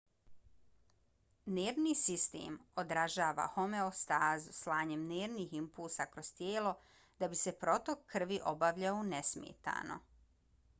nervni sistem održava homeostazu slanjem nervnih impulsa kroz tijelo da bi se protok krvi obavljao nesmetano